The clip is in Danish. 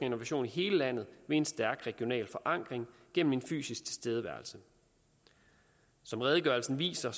innovation i hele landet med en stærk regional forankring gennem en fysisk tilstedeværelse som redegørelsen viser